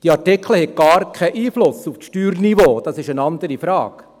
Diese Artikel haben gar keinen Einfluss auf das Steuerniveau, das ist eine andere Frage.